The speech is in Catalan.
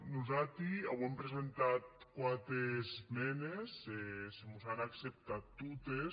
nosati auem presentat quate esmendes se mos an acceptat totes